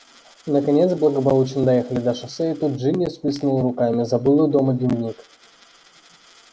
наконец благополучно доехали до шоссе и тут джинни всплеснула руками забыла дома дневник